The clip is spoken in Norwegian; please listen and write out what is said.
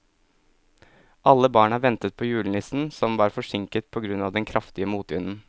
Alle barna ventet på julenissen, som var forsinket på grunn av den kraftige motvinden.